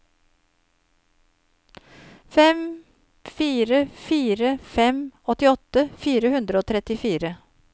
fem fire fire fem åttiåtte fire hundre og trettifire